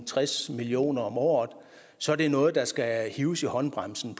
tres million kroner om året så er det noget hvor der skal hives i håndbremsen